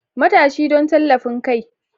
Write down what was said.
Matashi don tallafin kai.